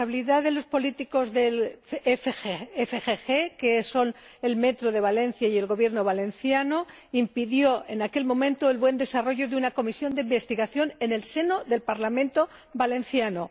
responsabilidad de los políticos de FGV, que son Metrovalencia y el Gobierno valenciano, impidió en aquel momento el buen desarrollo de una comisión de investigación en el seno del Parlamento valenciano.